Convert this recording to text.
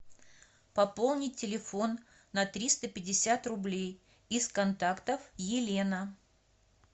пополнить телефон на триста пятьдесят рублей из контактов елена